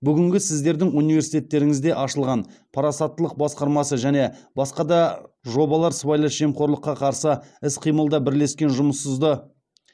бүгінгі сіздердің университтеріңізде ашылған парасаттылық басқармасы және басқа да жобалар сыбайлас жемқорлыққа қарсы іс қимылда